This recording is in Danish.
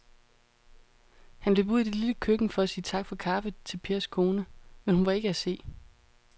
Han løb ud i det lille køkken for at sige tak for kaffe til Pers kone, men hun var ikke til at se.